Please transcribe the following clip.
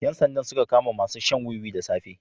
Yan sanda suka kama masu shan wuwi da safe.